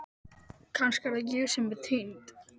Kannski er það ég sem er týnd.